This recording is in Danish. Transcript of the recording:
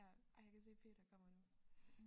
Ja ej jeg kan se Peter kommer nu